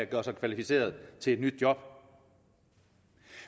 gøre sig kvalificeret til et nyt job